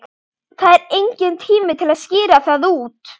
Það er enginn tími til að skýra það út.